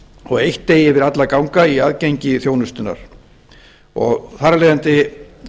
og eitt eigi yfir alla að ganga í aðgengi þjónustnnar og þar af leiðandi